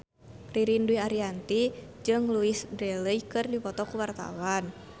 Ririn Dwi Ariyanti jeung Louise Brealey keur dipoto ku wartawan